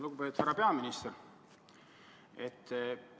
Lugupeetud härra peaminister!